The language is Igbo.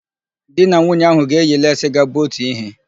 Di na nwunye ahụ ga-eyi leesi ga-abụ otu ihe.